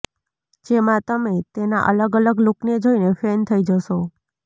જેમાં તમે તેના અલગ અલગ લૂકને જોઈને ફેન થઈ જશો